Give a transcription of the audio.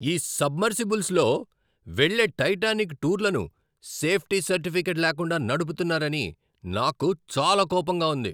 ఈ సబ్మెర్సిబుల్స్లో వెళ్ళే టైటానిక్ టూర్లను సేఫ్టీ సర్టిఫికేట్ లేకుండా నడుపుతున్నారని నాకు చాలా కోపంగా ఉంది.